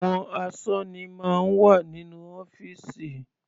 Àwọn asọ́ní máa ń wà nínú ọ́fìsì.